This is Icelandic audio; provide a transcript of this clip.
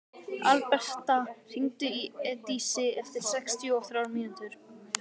Alberta, hringdu í Eidísi eftir sextíu og þrjár mínútur.